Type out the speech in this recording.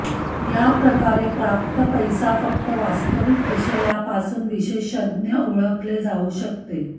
या प्रकारे प्राप्त पैसा फक्त वास्तविक विषयावर पासून विशेषज्ञ ओळखले जाऊ शकते